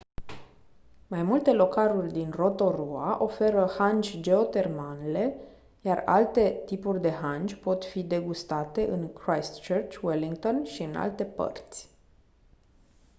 mai multe localuri din rotorua oferă hangi geotermanle iar alte tipuri de hangi pot fi degustate în christchurch wellington și în alte părți